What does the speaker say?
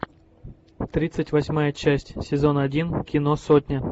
тридцать восьмая часть сезон один кино сотня